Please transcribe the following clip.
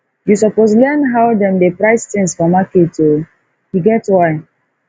you suppose learn how dem dey price tins for market o e get why